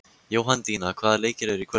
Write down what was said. Jóhanndína, hvaða leikir eru í kvöld?